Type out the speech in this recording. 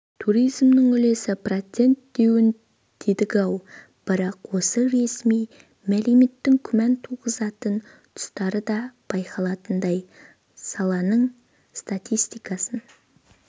туризмнің үлесі процент деуін дедік-ау бірақ осы ресми мәліметтің күмән туғызатын тұстары да байқалатындай саланың статистикасын